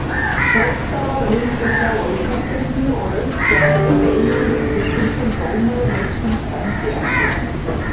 Þróttarar vildu sjá aukaspyrnu og rautt spjald en Eyjólfur Kristinsson dómari leiksins dæmdi ekkert.